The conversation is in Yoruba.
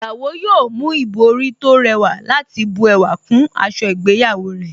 Ìyàwó yóò mú ìbòrí tó rẹwà láti bu ẹwà kún aṣọ ìgbéyàwó rẹ̀